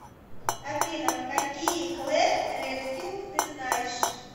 афина какие клэр редфилд ты знаешь